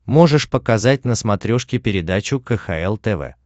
можешь показать на смотрешке передачу кхл тв